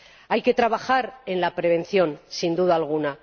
Hay que trabajar en la prevención, sin duda alguna.